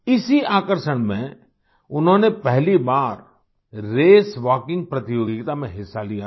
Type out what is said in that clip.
इसी आकर्षण में उन्होंने पहली बार रेसवॉकिंग प्रतियोगिता में हिस्सा लिया था